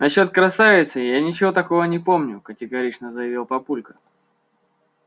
насчёт красавицы я ничего такого не помню категорично заявил папулька